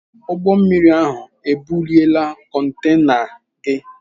Ụgbọ mmiri ahụ ebuliela kontena gị.